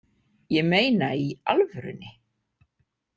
Ég meina í alvörunni